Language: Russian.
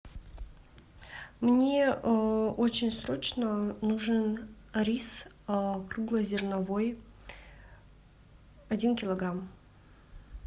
мне очень срочно нужен рис круглозерновой один килограмм